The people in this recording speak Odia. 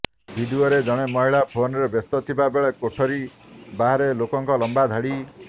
ଭିଡିଓରେ ଜଣେ ମହିଳା ଫୋନରେ ବ୍ୟସ୍ତ ଥିବା ବେଳେ କୋଠରୀ ବାହାରେ ଲୋକଙ୍କ ଲମ୍ବା ଧାଡି